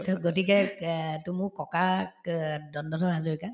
to গতিকে এহ্ to মোক ককাক অ দণ্ডধৰ হাজৰিকা